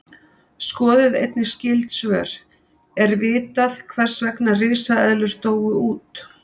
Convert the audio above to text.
Skoðið einnig skyld svör: Er vitað hvers vegna risaeðlur dóu út?